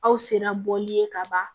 Aw sera bɔli ye ka ban